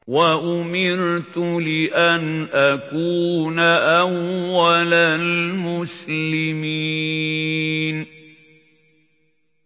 وَأُمِرْتُ لِأَنْ أَكُونَ أَوَّلَ الْمُسْلِمِينَ